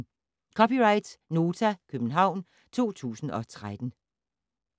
(c) Nota, København 2013